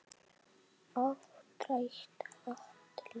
Áttrætt andlit.